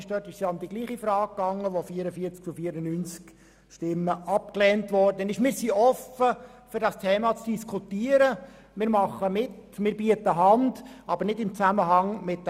Dort ging es um die gleiche Frage, und das wurde mit 44 zu 94 Stimmen abgelehnt.